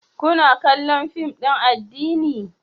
Kuna kallon fim din addini?